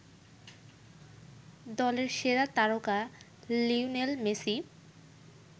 দলের সেরা তারকা লিওনেল মেসি